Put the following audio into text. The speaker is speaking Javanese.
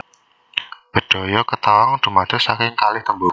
Bedhaya Ketawang dumados saking kalih tembung